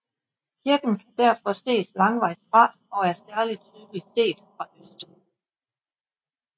Kirken kan derfor ses langvejs fra og er særlig tydelig set fra øst